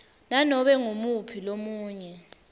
nanobe ngumuphi lomunye